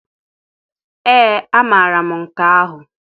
Ee amara m nke ahụ.